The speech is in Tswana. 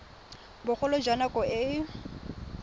bogolo jwa nako e e